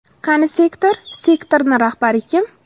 Qani sektor, sektorni rahbari kim?